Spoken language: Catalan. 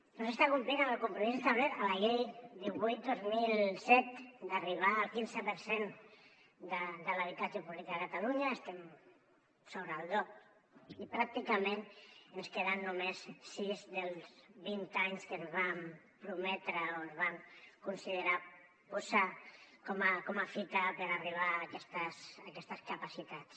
no s’està complint el compromís establert a la llei divuit dos mil set d’arribar al quinze per cent de l’habitatge públic a catalunya estem sobre el dos i pràcticament ens queden només sis dels vint anys que ens vam prometre o es va considerar posar com a fita per arribar a aquestes capacitats